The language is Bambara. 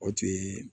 O tun ye